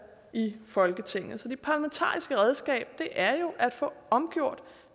i folketinget så det parlamentariske redskab er jo at få omgjort